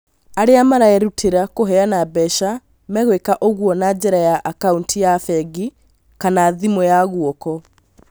Arĩa marerutĩra kuheana mbeca megwĩka ũguo na njĩra ya akauntiya bengi kama thimũ ya guoko